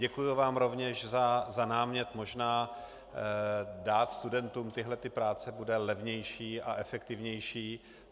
Děkuji vám rovněž za námět, možná dát studentům tyto práce bude levnější a efektivnější.